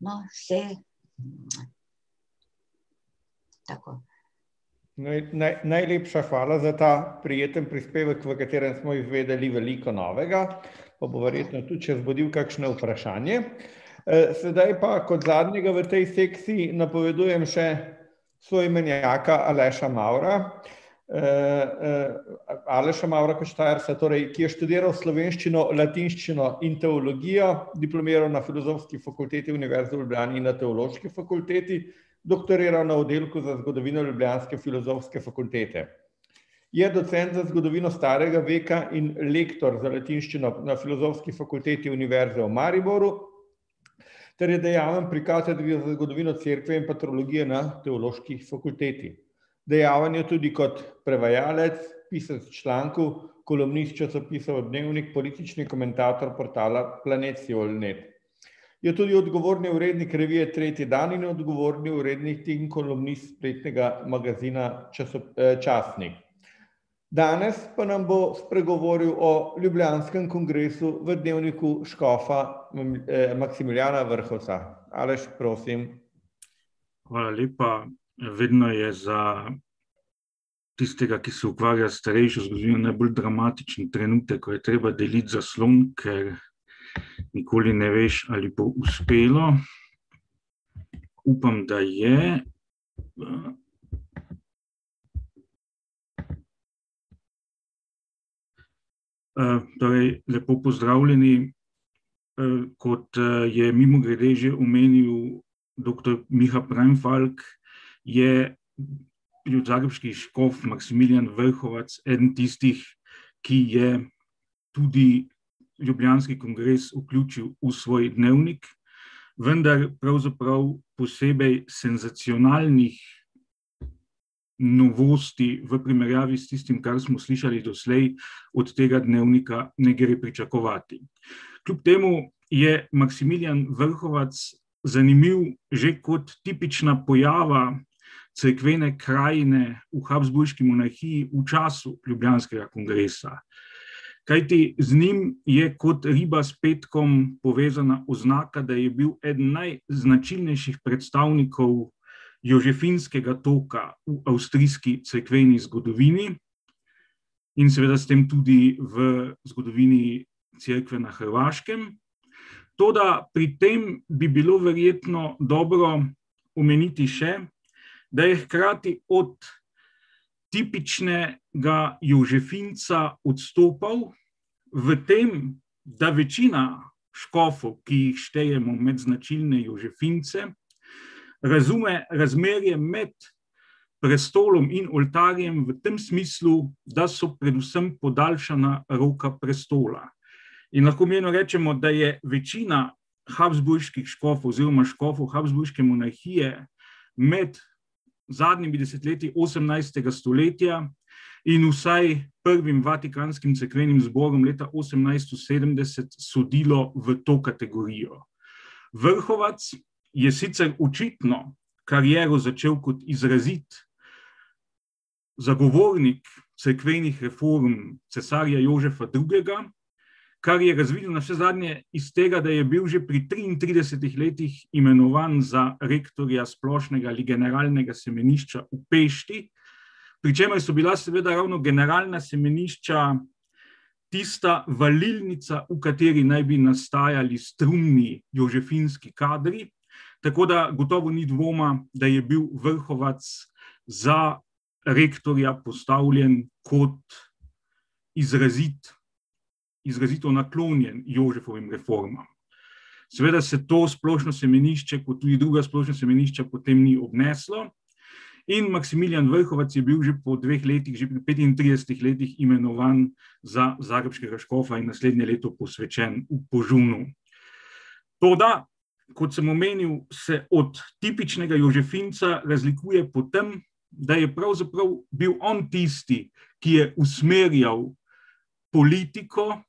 No, saj ... Tako. najlepša hvala za ta prijetni prispevek, v katerem smo izvedeli veliko novega, pa bo verjetno tudi še vzbudil kakšno vprašanje. sedaj pa, kot zadnjega v tej sekciji napovedujem še soimenjaka, Aleša Mavra, Aleša Mavra kot Štajerca, torej ki je študiral slovenščino, latinščino in teologijo, diplomiral na Filozofski fakulteti Univerze v Ljubljani in na Teološki fakulteti, doktoriral na Oddelku za zgodovino ljubljanske Filozofske fakultete. Je docent za zgodovino starega veka in lektor za latinščino na Filozofski fakulteti Univerze v Mariboru ter je dejaven pri katedri za zgodovino Cerkve in pa teologije na Teološki fakulteti. Dejaven je tudi kot prevajalec, pisec člankov, kolumnist časopisov Dnevnik, politični komentator portala Planet Siol net. Je tudi odgovorni urednik revije Tretji dan in odgovorni urednik in kolumnist spletnega magazina Časnik. Danes pa nam bo spregovoril o ljubljanskem kongresu v dnevniku škofa Maksimiljana Vrhovca. Aleš, prosim. Hvala lepa, vedno je za tistega, ki se ukvarja s starejšo zgodovino, najbolj dramatičen trenutek, ko je treba deliti zaslon, ker nikoli ne veš, ali bo uspelo. Upam, da je. ... torej lepo pozdravljeni, kot, je mimogrede že omenil doktor Miha Preinfalk, je bil zagrebški škof Maksimilijan Vrhovac eden tistih, ki je tudi ljubljanski kongres vključil v svoj dnevnik, vendar pravzaprav posebej senzacionalnih novosti v primerjavi s tistim, kar smo slišali doslej, od tega dnevnika ne gre pričakovati. Kljub temu je Maksimilijan Vrhovac zanimiv že kot tipična pojava cerkvene krajine v Habsburški monarhiji v času ljubljanskega kongresa. Kajti z njim je kot riba s petkom povezana oznaka, da je bil eden najznačilnejših predstavnikov jožefinskega toka v avstrijski cerkveni zgodovini in seveda s tem tudi v zgodovini cerkve na Hrvaškem. Toda pri tem bi bilo verjetno dobro omeniti še, da je hkrati od tipičnega jožefinca odstopal v tem, da večina škofov, ki jih štejemo med značilne jožefince, razume razmerje med prestolom in oltarjem v tem smislu, da so predvsem podaljšana roka prestola. In lahko mirno rečemo, da je večina habsburških škofov oziroma škofov Habsburške monarhije med zadnjimi desetletji osemnajstega stoletja in vsaj prvim vatikanskim cerkvenim zborom leta osemnajsto sedemdeset sodilo v to kategorijo. Vrhovac je sicer očitno kariero začel kot izrazit zagovornik cerkvenih reform cesarja Jožefa Drugega, kar je razvilo navsezadnje iz tega, da je bil že pri triintridesetih letih imenovan za rektorja splošnega legionarnega rektorja semenišča v Pešti, pri čemer so bila seveda ravno generalna semenišča tista valilnica, v kateri naj bi nastajali strumni jožefinski kadri, tako da gotovo ni dvoma, da je bil Vrhovac za rektorja postavljen kot izrazit, izrazito naklonjen Jožefovim reformam. Seveda se to splošno semenišče kot tudi druga splošna semenišča potem ni obneslo. In Maksimilijan Vrhovac je bil že po dveh letih, že pri petintridesetih letih imenovan za zagrebškega škofa in naslednje leto posvečen v . Toda kot sem omenil, se od tipičnega jožefinca razlikuje po tem, da je pravzaprav bil on tisti, ki je usmerjal politiko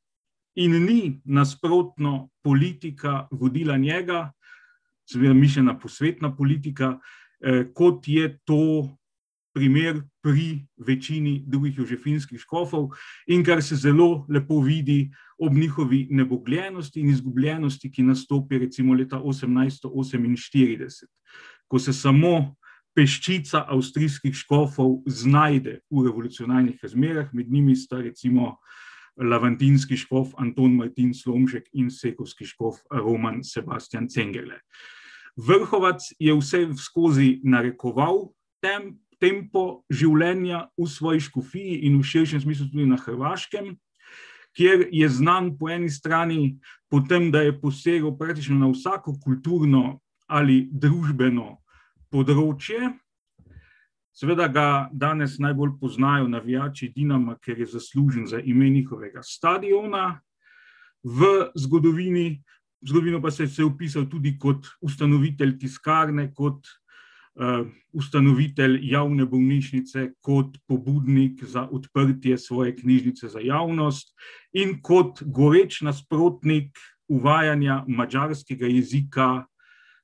in ni nasprotno politika vodila njega, seveda mišljena posvetna politika, kot je to primer pri večini drugih jožefinskih škofov in kar se zelo lepo vidi ob njihovi nebogljenosti in izgubljenosti, ki nastopi recimo leta osemnajststo oseminštirideset. Ko se samo peščica avstrijskih škofov znajde v revolucionarnih razmerah, med njimi sta recimo lamartinski škof Anton Martin Slomšek in škof Roman Sebastijan Cengele. Vrhovac je vseskozi narekoval tempo življenja v svoji škofiji in v širšem smislu tudi na Hrvaškem, kjer je znan po eni strani po tem, da je posegel praktično na vsako kulturno ali družbeno področje. Seveda ga danes najbolj poznajo navijači Dinama, ker je zaslužen za ime njihovega stadiona, v zgodovini, zgodovino pa se je pisalo tudi kot ustanovitelj tiskarne, kot, ustanovitelj javne bolnišnice, kot pobudnik za odprtje svoje knjižnice za javnost in kot goreč nasprotnik uvajanja madžarskega jezika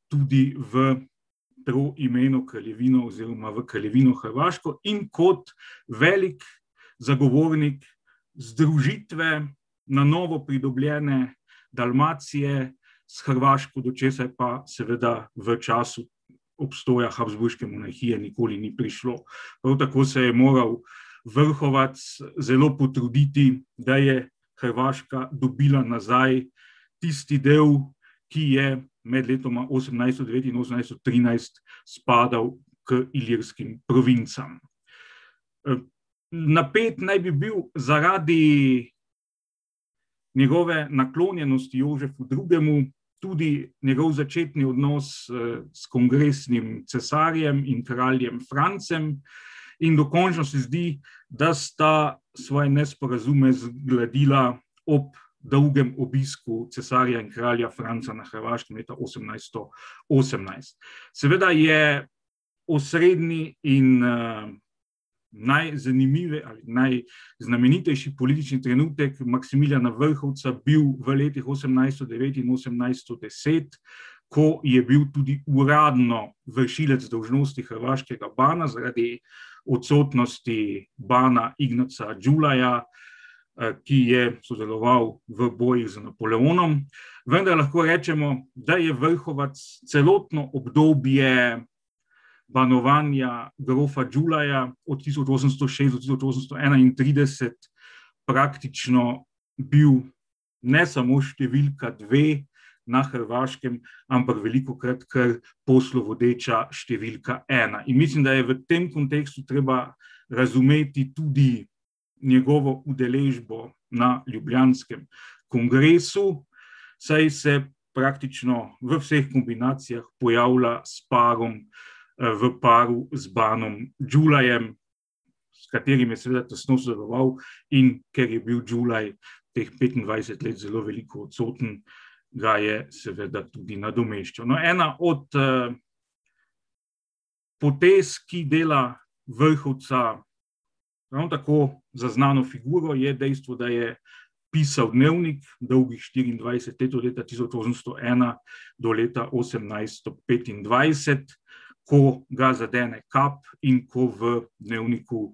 tudi v kraljevino oziroma v kraljevino hrvaško in kot veliko zagovornik združitve na novo pridobljene Dalmacije s Hrvaško, do česar pa seveda v času obstoja Habsburške monarhije nikoli ni prišlo. Prav tako se je moral Vrhovac zelo potruditi, da je Hrvaška dobila nazaj tisti del, ki je med letoma osemnajststo devet in osemnajststo trinajst spadal k Ilirskim provincam. napet naj bi bil zaradi njegove naklonjenosti Jožefu Drugemu, tudi njegov začetni odnos, s kongresnim cesarjem in kraljem Francem in dokončno se zdi, da sta svoje nesporazume zgladila ob dolgem obisku cesarja in kralja na Hrvaškem leta osemnajststo osemnajst. Seveda je osrednji in, ali najznamenitejši politični trenutek Maksmilijana Vrhovca bil v letih osemnajststo devet in osemnajststo deset, ko je bil tudi uradno vršilc dolžnosti hrvaškega pana zaradi odsotnosti bana Ignaca Džulaja, ki je sodeloval v bojih z Napoleonom. Vendar lahko rečemo, da je Vrhovac celotno obdobje banovanja grofa Džulaja od tisoč osemsto šestdeset do tisoč osemsto enaintrideset praktično bil ne samo številka dve na Hrvaškem, ampak velikokrat kar poslovodeča številka ena, in mislim, da je v tem kontekstu treba razumeti tudi njegovo udeležbo na ljubljanskem kongresu, saj se praktično v vseh kombinacijah pojavlja s parom, v paru z banom Džulajem, s katerim je seveda tesno sodeloval, in ker je bil Džulaj teh petindvajset let zelo veliko odsoten, ga je seveda tudi nadomeščal. No, ena od, potez, ki dela Vrhovca ravno tako za znano figuro, je dejstvo, da je pisal dnevnik dolgih štiriindvajset let, od leta tisoč osemsto ena do leta osemnajststo petindvajset, ko ga zadene kap in ko v dnevniku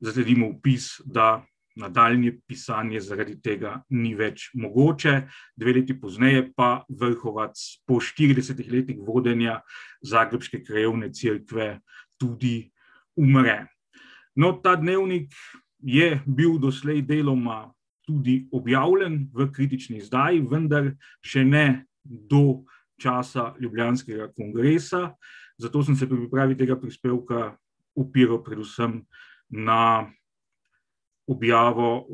zasledimo opis, da nadaljnje pisanje zaradi tega ni več mogoče. Dve leti pozneje pa Vrhovac po štiridesetih letih vodenja zagrebške krajevne cerkve tudi umre. No, ta dnevnik je bil doslej deloma tudi objavljen v kritični izdaji, vendar še ne do časa ljubljanskega kongresa. Zato sem se pri pripravi tega prispevka opiral predvsem na objavo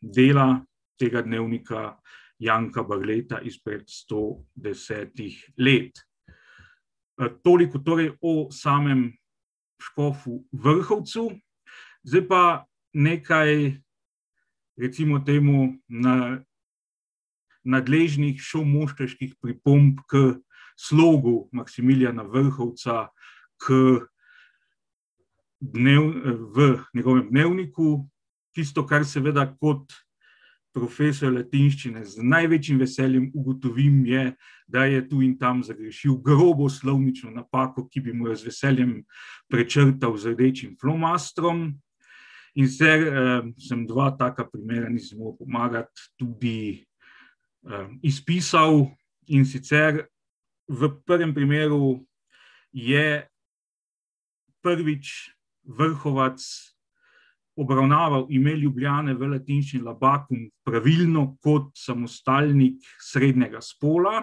dela tega dnevnika Janka Balreta izpred sto desetih let. toliko torej o samem škofu Vrhovcu. Zdaj pa nekaj recimo temu nadležnih šolmoštrških pripomb k slogu Maksimiljana Vrhovca k v njegovem dnevniku. Tisto, kar seveda kot profesor latinščine z največjim veseljem ugotovim, je, da je tu in tam zagrešil grobo slovnično napako, ki bi mu jo z veseljem prečrtal z rdečim flomastrom. In se, samo dva taka primera, nisem si mogel pomagati, tudi, izpisal, in sicer v prvem primeru je prvič Vrhovac obravnaval ime Ljubljane v latinščini, Labatum, pravilno, kot samostalnik srednjega spola,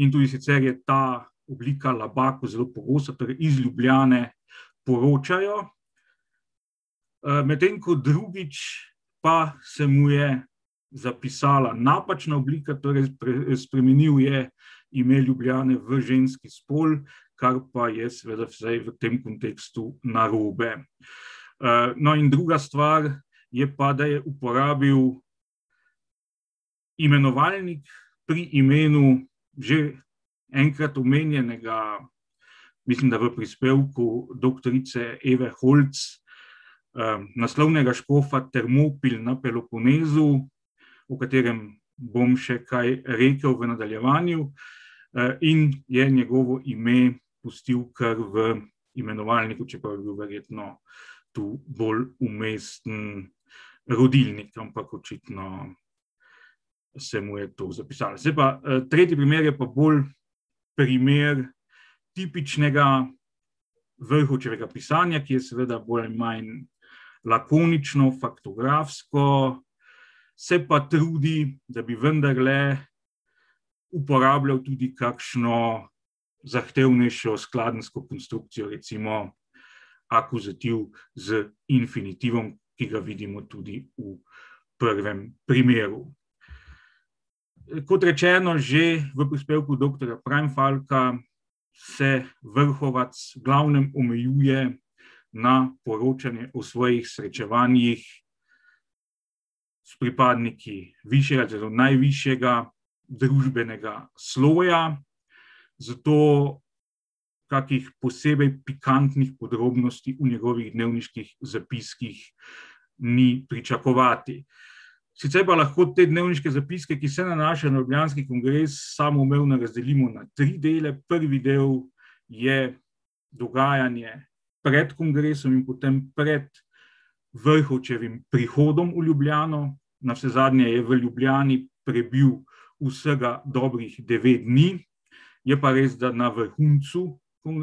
in tudi sicer je ta oblika Labatum zelo pogosta, torej iz Ljubljane poročajo, medtem ko drugič pa se mu je zapisala napačna oblika, torej spremenil je ime Ljubljane v ženski spol, kar pa je seveda vsaj v tem kontekstu narobe. no, in druga stvar je pa, da je uporabil imenovalnik pri imenu že enkrat omenjenega, mislim, da v prispevku doktorice Eve Holc, naslovnega škofa Termopil na Peloponezu, o katerem bom še kaj rekli v nadaljevanju. in je njegovo ime pustil kar v imenovalniku, čeprav je bil verjetno tu bolj umesten rodilnik, ampak očitno se mu je to zapisalo. Zdaj pa, tretji primer je pa bolj primer tipičnega Vrhovčega pisanja, ki je seveda bolj ali manj lakonično, faktografsko, se pa trudi, da bi vendarle uporabljal tudi kakšno zahtevnejšo skladenjsko konstrukcijo, recimo akuzativ z infinitivom, ki ga vidimo tudi v prvem primeru. kot rečeno že v prispevku doktorja Preinfalka se Vrhovac v glavnem omejuje na poročanje o svojih srečevanjih s pripadniki višjega oziroma najvišjega družbenega sloja, zato takih posebej pikantnih podrobnosti v njegovih dnevniških zapiskih ni pričakovati. Sicer pa lahko te dnevniške zapiske, ki se nanašajo na ljubljanski kongres, samoumevno razdelimo na tri dele, prvi del je dogajanje pred kongresom in potem pred Vrhovčevim prihodom v Ljubljano, navsezadnje je v Ljubljani prebil vsega dobrih devet dni. Je pa res, da na vrhuncu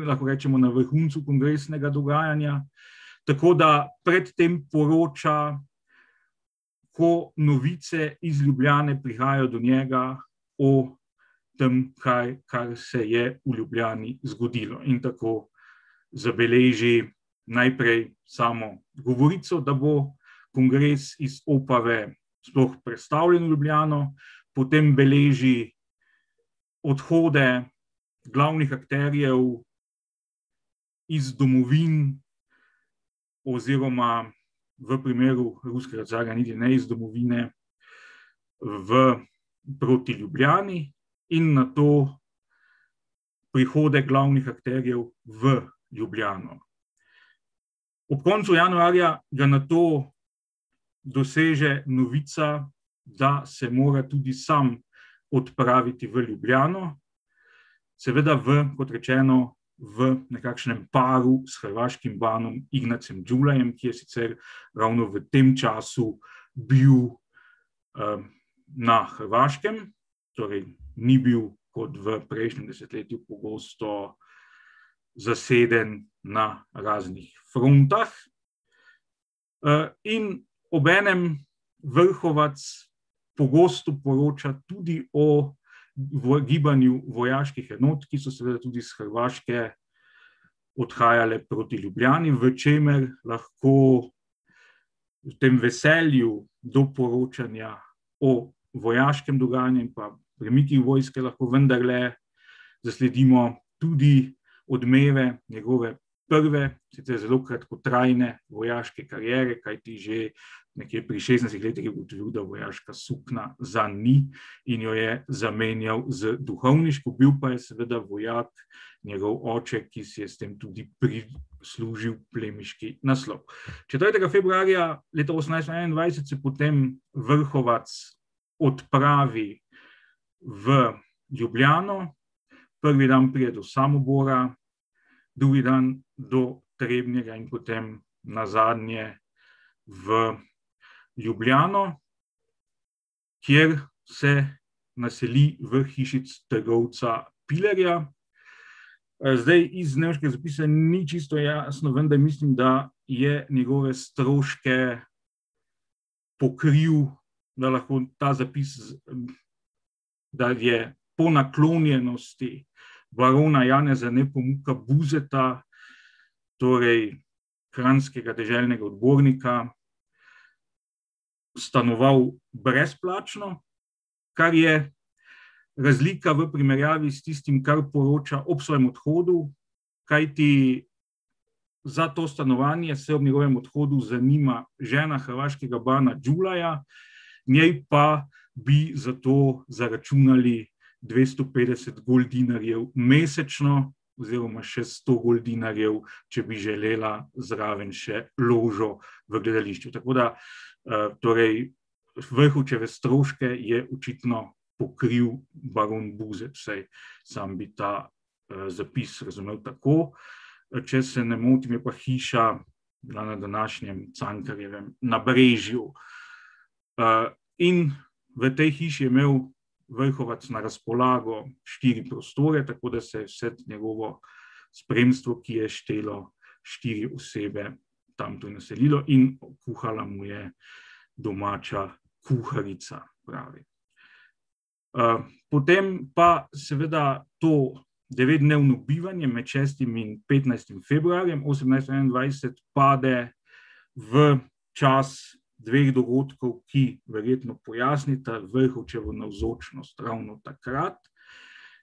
lahko rečemo na vrhuncu kongresnega dogajanja, tako da pred tem poroča, ko novice iz Ljubljane prihajajo do njega o tem, kaj, kaj se je v Ljubljani zgodilo, in tako zabeleži najprej samo govorico, da bo kongres iz Opave sploh prestavljen v Ljubljano, potem beleži odhode glavnih akterjev iz domovin oziroma v primeru ruskega carja niti ne iz domovine, v, proti Ljubljani in nato prihode glavnih akterjev v Ljubljano. Ob koncu januarja ga nato doseže novica, da se mora tudi sam odpraviti v Ljubljano, seveda v, kot rečeno, v nekakšnem paru s hrvaškim banom, Ignacem Džulajem, ki je sicer ravno v tem času bil, na Hrvaškem. Torej ni bil kot v prejšnjem desetletju pogosto zaseden na raznih frontah. in obenem Vrhovac pogosto poroča tudi o gibanju vojaških enot, ki so seveda tudi s Hrvaške odhajale proti Ljubljani, v tem veselju do poročanja o vojaškem dogajanju in pa premikih vojske vendarle zasledimo tudi odmeve njegove prve, sicer zelo kratkotrajne vojaške kariere, kajti že nekje pri šestnajstih letih je ugotovil, da vojaška suknja zanj ni, in jo je zamenjal z duhovniško, bil pa je seveda vojak njegov oče, ki si je s tem tudi prislužil plemiški naslov. Četrtega februarja leta osemnajststo enaindvajset se potem Vrhovac odpravi v Ljubljano, prvi dan pride do Samobora, drugi dan do Trebnjega in potem nazadnje v Ljubljano, kjer se naseli v hiši trgovca Pilerja. zdaj iz našega razpisa ni čisto jasno, vendar mislim, da je njegove stroške pokril, da lahko ta zapis da je po naklonjenosti barona Janeza Nepomuka Buzeta, torej kranjskega deželnega odbornika, stanoval brezplačno. Kar je razlika v primerjavi s tistim, kar poroča ob svojem odhodu, kajti za to stanovanje se ob njegovem odhodu zanima žena hrvaškega bana Džulaja, njej pa bi za to zaračunali dvesto petdeset goldinarjev mesečno oziroma še sto goldinarjev, če bi želela zraven še ložo v gledališču, tako da, torej Vrhovčeve stroške je očitno pokril baron Buzet, vsaj sam bi ta, zapis razumel tako. če se ne motim, je pa hiša bila na današnjem Cankarjevem nabrežju. in v tej hiši je imel Vrhovac na razpolago štiri prostore, tako da se je vse njegovo spremstvo, ki je štelo štiri osebe, tam tudi vselilo in kuhala mu je domača kuharica, pravi. potem pa seveda to devetdnevno bivanje med šestim in petnajstim februarjem osemnajststo enaindvajset pade v čas dveh dogodkov, ki verjetno pojasnita Vrhovčevo navzočnost ravno takrat.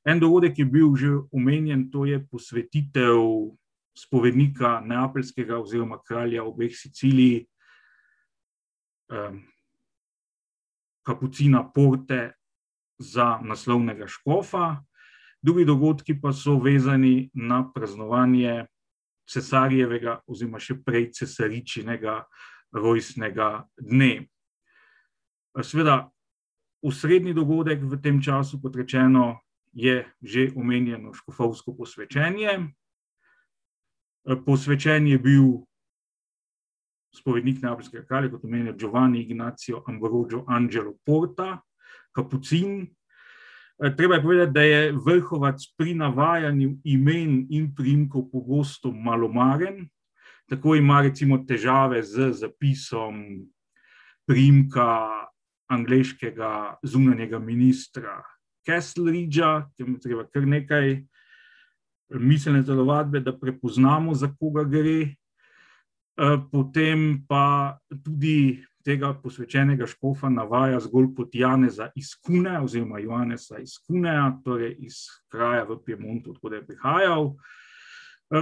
En dogodek je bil že omenjen, to je posvetitev spovednika neapeljskega oziroma kralja obeh Sicilij, kapucina Porte za naslovnega škofa. Drugi dogodki pa so vezani na praznovanje cesarjevega oziroma še prej cesaričinega rojstnega dne. seveda osrednji dogodek v tem času, kot rečeno, je že omenjeno škofovsko posvečenje, posvečen je bil spovednik neapeljskega kralja, to pomeni Giovanni Ignacio Ambrogio Angelo Porta. Kapucin. treba je povedati, da je Vrhovac pri navajanju imen in priimkov pogosto malomaren, tako ima recimo težave z zapisom priimka angleškega zunanjega ministra , treba kar nekaj miselne telovadbe, da prepoznamo, za koga gre. potem pa bi tudi tega posvečenega škofa navaja zgolj kot Janeza iz Kune oziroma Janeza in Cunea, torej iz kraja v Piemontu, od koder je prihajalo.